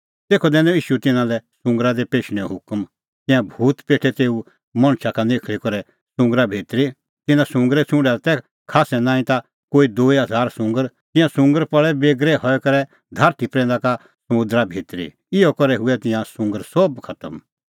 तेखअ दैनअ ईशू तिन्नां लै सुंगरा दी पेशणैंओ हुकम तिंयां भूत पेठै तेऊ मणछा का निखल़ी करै सुंगरा भितरी तिन्नां सुंगरे छ़ुंडा दी तै खास्सै नांईं ता कोई दूई हज़ार सुंगर तिंयां सुंगर पल़ै बेगरै हई करै धारठी प्रैंदा का समुंदरा भितरी इहअ करै हुऐ तिंयां सुंगर सोभ खतम